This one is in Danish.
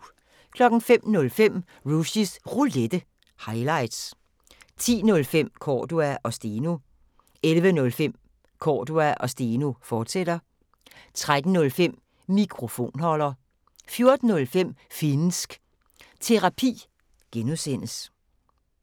05:05: Rushys Roulette – highlights 10:05: Cordua & Steno 11:05: Cordua & Steno, fortsat 13:05: Mikrofonholder 14:05: Finnsk Terapi (G)